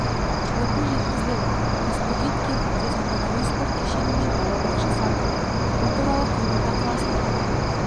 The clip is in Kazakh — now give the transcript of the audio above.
отын жеткізіледі тасбөгет кентінде заманауи спорт кешені мен балабақша салынады бұл туралы қызылорда қаласының әкімі